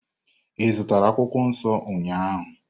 Ị zụtara akwukwuo nso ụnyahụ?